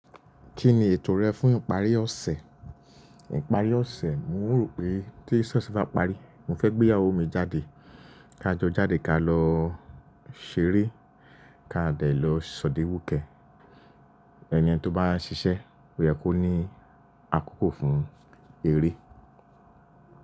Kí ni ètò rẹ fún ìparí ọ̀sẹ̀? Ìparí ọ̀sẹ̀, mo rò pé tí ṣọ̀ṣi bá parí, mo fẹ́ gbé ìyàwó mi jáde. Ká jọ jáde ká lọ ṣeré, ká dẹ̀ lọ sọ̀díwúkẹ̀. Ẹni tí ó bá ń ṣiṣẹ́, ó yẹ kó ní àkókò fún eré.